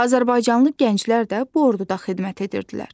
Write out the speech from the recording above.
Azərbaycanlı gənclər də bu orduda xidmət edirdilər.